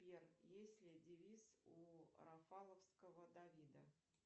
сбер есть ли девиз у рафаловского давида